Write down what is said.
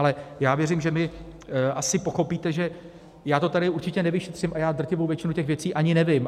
Ale já věřím, že vy asi pochopíte, že já to tady určitě nevyšetřím, a já drtivou většinu těch věcí ani nevím.